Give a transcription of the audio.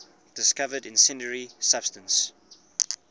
discovered incendiary substance